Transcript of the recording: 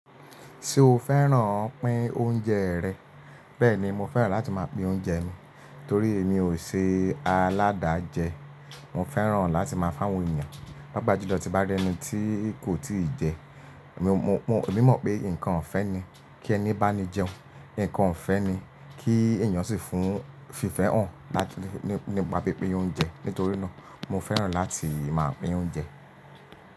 Ṣé o fẹ́ràn pín oúnjẹ rẹ̀? Bẹ́ẹ̀ni, mo fẹ́ràn láti máa pín oúnjẹ mi torí èmi ò ṣe aládàjẹ. Mo fẹ́ràn láti máa fún àwọn èèyàn, pàápàá ju lọ́ ti bá rí ẹni tí kò tíì jẹ, mo, mo, mo, e mi mọ̀ pé nǹkan ọ̀fẹ́ ni kí ẹni bá ní jẹun, nǹkan ọ̀fẹ́ ni kí èèyàn sì fún fífẹ́ hàn láti nípa pín pín oúnjẹ. Nítorí náà mo fẹ́ràn láti máa pín oúnjẹ.